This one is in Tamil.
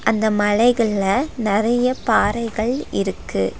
அந்த மலைகள்ல நெறைய பாறைகள் இருக்கு.